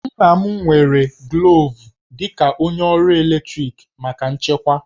Nna m nwere glovu dị ka onye ọrụ ọkụ eletrik maka nchekwa